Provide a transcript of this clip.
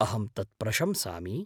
अहं तत् प्रशंसामि।